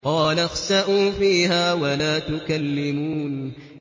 قَالَ اخْسَئُوا فِيهَا وَلَا تُكَلِّمُونِ